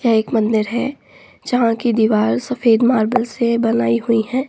यह एक मंदिर है जहाँ की दीवार सफ़ेद मार्बल से बनायीं हुयी हैं।